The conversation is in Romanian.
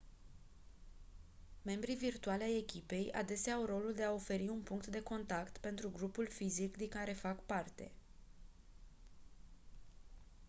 membrii virtuali ai echipei adesea au rolul de a oferi un punct de contact pentru grupul fizic din care fac parte